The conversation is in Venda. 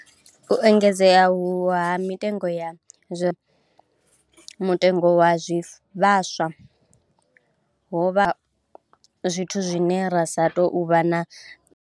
U engedzea uhu ha mitengo ya zwirengwa, nga mutengo wa zwivhaswa, hovhwa zwithu zwine ra sa tou vha na.